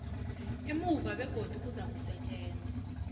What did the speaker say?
emuva begodu kuzakusetjenzwa